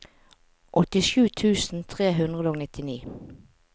åttisju tusen tre hundre og nittini